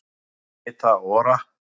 Rita Ora